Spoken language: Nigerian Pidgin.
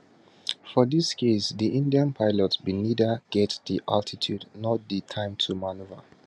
for dis case di indian pilots bin neither get di altitude nor di time to manoeuvre